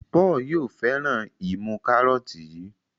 Paul yóò féràn imú karọọti yí.